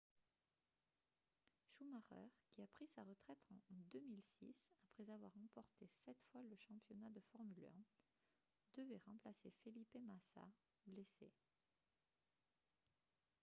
schumacher qui a pris sa retraite en 2006 après avoir remporté sept fois le championnat de formule 1 devait remplacer felipe massa blessé